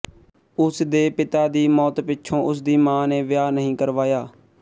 ਉਸਦੇ ਪਿਤਾ ਦੀ ਮੌਤ ਪਿੱਛੋਂ ਉਸਦੀ ਮਾਂ ਨੇ ਵਿਆਹ ਨਹੀਂ ਕਰਵਾਇਆ